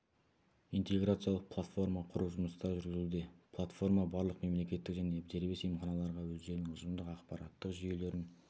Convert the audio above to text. интеграциялық платформа құру жұмыстары жүргізілуде платформа барлық мемлекеттік және дербес емханаларға өздерінің ұжымдық ақпараттық жүйелерін